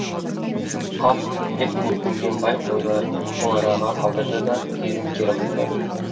қап деп өкінген бай қойларын сол араға қалдырады да дереу кері қайтады